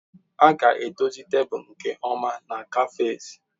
A ga-edozi tebụl nke ọma na kafes.